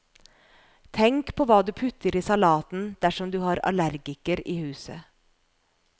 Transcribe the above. Tenk på hva du putter i salaten dersom du har allergiker i huset.